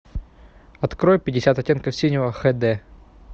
открой пятьдесят оттенков синего хд